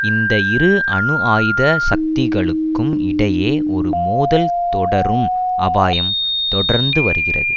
இந்த இரு அணுஆயுத சக்திகளுக்கும் இடையே ஒரு மோதல் தொடரும் அபாயம் தொடர்ந்து வருகிறது